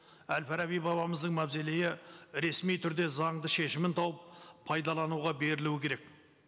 әл фараби бабамыздың мавзолейі ресми түрде заңды шешімін тауып пайдалануға берілуі керек